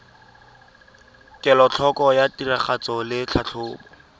kelotlhoko ya tiragatso le tlhatlhobo